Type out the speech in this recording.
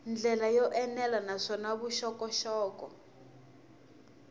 ndlela yo enela naswona vuxokoxoko